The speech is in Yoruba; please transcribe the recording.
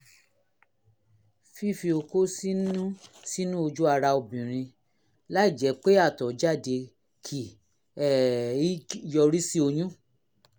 fífi okó sínú sínú ojú ara obìnrin láìjẹ́ pé àtọ̀ jáde kì um í yọrí sí oyún